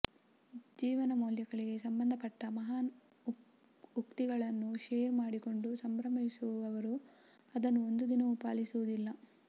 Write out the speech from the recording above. ಜೀವನ ಮೌಲ್ಯಗಳಿಗೆ ಸಂಬಂಧಪಟ್ಟ ಮಹಾನ್ ಉಕ್ತಿಗಳನ್ನು ಶೇರ್ ಮಾಡಿಕೊಂಡು ಸಂಭ್ರಮಿಸುವವರು ಅದನ್ನು ಒಂದು ದಿನವೂ ಪಾಲಿಸುವುದಿಲ್ಲ